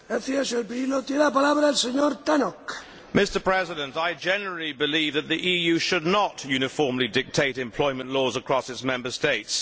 Mr President, I generally believe that the EU should not uniformly dictate employment laws across its Member States.